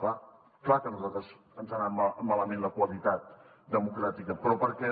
clar clar que a nosaltres ens ha anat malament la qualitat democràtica però perquè